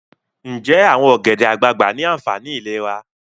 Nje awon ogede-agbagba ni aanfani ilera?